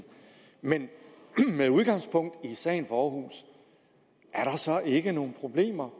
men med udgangspunkt i sagen fra aarhus er der så ikke nogle problemer